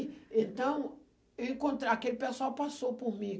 Aí, então, eu encontrei, aquele pessoal passou por mim.